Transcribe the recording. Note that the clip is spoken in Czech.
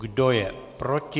Kdo je proti?